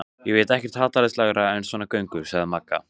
Ég veit ekkert hallærislegra en svona göngur, sagði Magga.